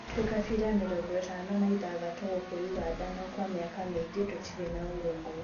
Twĩ kabira mĩrongo ĩtano na ithathatũ gũkũ Ũganda no Kwa mĩaka mĩingĩ tũtirĩ na ũrũmwe